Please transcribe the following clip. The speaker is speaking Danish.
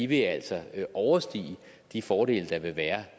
vil altså overstige de fordele der vil være